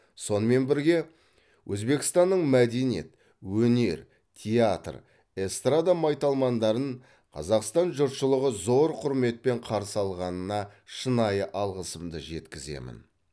сонымен бірге өзбекстанның мәдениет өнер театр эстрада майталмандарын қазақстан жұртшылығы зор құрметпен қарсы алғанына шынайы алғысымды жеткіземін